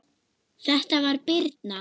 Þetta var Birna.